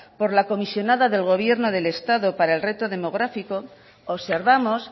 por la comisionada del gobierno del estado para el reto demográfico observamos